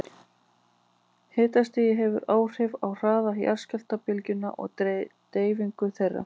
Hitastig hefur áhrif á hraða jarðskjálftabylgna og deyfingu þeirra.